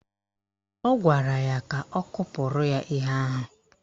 Ọ gwara ya ka ọ kụpụrụ ya ihe ahụ